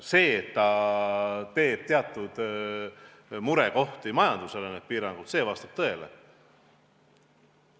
See, et need piirangud tekitavad teatud murekohti majandusele, vastab tõele.